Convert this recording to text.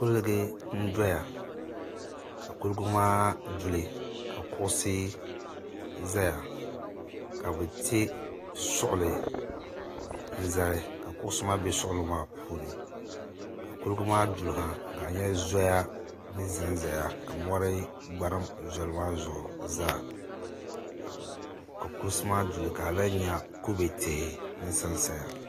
Kuligu n doya kuligi maa duli kuɣisi ʒaya kabi ti suɣulinzali ka kuɣisi maa be suɣili maa puuni ka kuligi maa daliya ka a nya zoya ni ʒanʒaya. ka mɔri gbarim luɣilikam zaasa ka kulisi maa duli ka alan nya line tihi n ʒɛn ʒaya